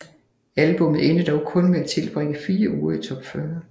Albummet endte dog kun med at tilbringe fire uger i top 40